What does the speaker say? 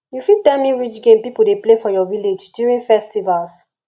you fit tell me which game people dey play for your village during festivals